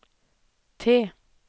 T